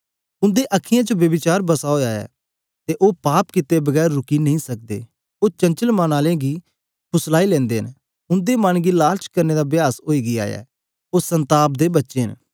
उन्दे अखीयैं च ब्यभिचार बसा ओया ऐ अते ओह पाप कीअते बिना रुकी नेईं सकदे ओह चंचाल मन आले गी फुसलाई लेनदे न उन्दे मन गी लालच करने दा अभ्यास ओई गीया ऐ ओह सन्ताप दे बच्चे न